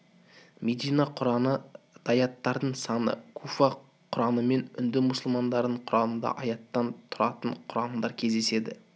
медина құраны дааяттардың саны куфа құранымен үнді мұсылмандарының құранында аяттан тұратын құрандар кездеседі